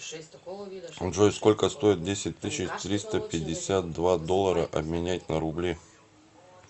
джой сколько стоит десять тысяч триста пятьдесят два доллара обменять на рубли